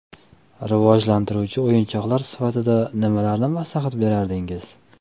Rivojlantiruvchi o‘yinchoqlar sifatida nimalarni maslahat brardingiz?